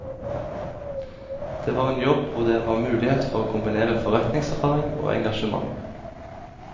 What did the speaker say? Det var en jobb hvor det var mulighet for å kombinere forretningserfaring og engasjement.